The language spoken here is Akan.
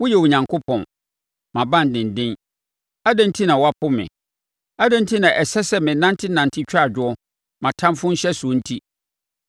Woyɛ Onyankopɔn, mʼabandenden. Adɛn enti na woapo me? Adɛn enti na ɛsɛ sɛ menantenante twa adwo mʼatamfoɔ nhyɛsoɔ nti?